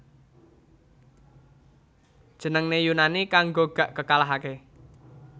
Jenengne Yunani kanggo Gak Kekalahake